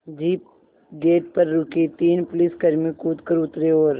jeep gate पर रुकी तीन पुलिसकर्मी कूद कर उतरे और